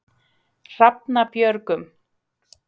Hrafnabjörgum